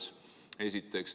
Seda esiteks.